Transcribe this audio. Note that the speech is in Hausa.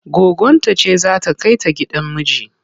Goggonta ce za ta kai ta gidan miji.